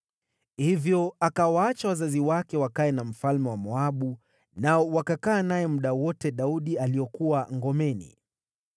Hivyo akawaacha wazazi wake wakae na mfalme wa Moabu, nao wakakaa naye muda wote ambao Daudi alikuwa ngomeni.